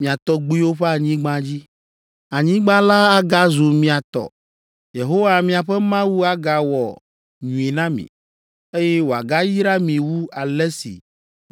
mia tɔgbuiwo ƒe anyigba dzi. Anyigba la agazu mia tɔ. Yehowa miaƒe Mawu agawɔ nyui na mi, eye wòagayra mi wu ale si